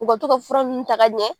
U ka tɔ ka fura nunnu ta ka ɲɛ .